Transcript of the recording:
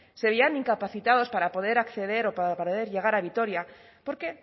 se veían incapacitados para poder acceder o para poder llegar a vitoria porque